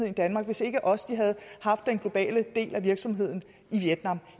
i danmark hvis ikke også de havde haft den globale del af virksomheden i vietnam